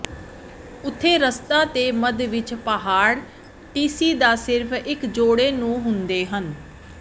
ਉੱਥੇ ਰਸਤਾ ਦੇ ਮੱਧ ਵਿੱਚ ਪਹਾੜ ਟੀਸੀ ਦਾ ਸਿਰਫ ਇੱਕ ਜੋੜੇ ਨੂੰ ਹੁੰਦੇ ਹਨ